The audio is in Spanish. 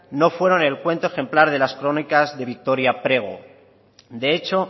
no fueron el cuento ejemplar de las crónicas de victoria prego de hecho